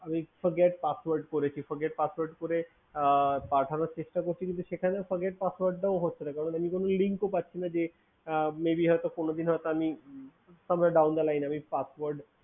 আমি Forget Password করেছি, Forget Password করে পাঠানোর চেষ্টা করেছি কিন্তু সেটা Forget Password টা ও হচ্ছে না আমি কোনো leading তো পাচ্ছি না may be হয়ত কোনোদিন হয়ত আমি from the down line আমি Password